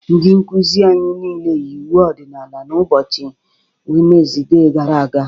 Ndị nkuzi anyị niile yi uwe ọdịnala n'ụbọchị Wenzide gara aga.